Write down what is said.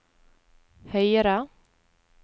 høyre